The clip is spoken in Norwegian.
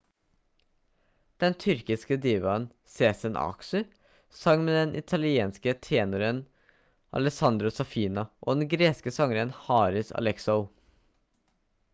den tyrkiske divaen sezen aksu sang med den italienske tenoren alessandro saffina og den greske sangeren haris alexou